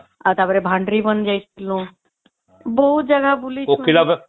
ଆଉ ଟା ପରେ ଭାଣ୍ଡରୀ ବନ ଯାଇଥିଲୁ ବହୁତ ଜାଗା ବୁଲିଛୁ